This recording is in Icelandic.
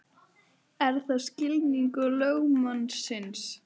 Er það skilningur lögmannsins?